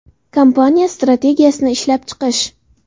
Kompaniya strategiyasini ishlab chiqish.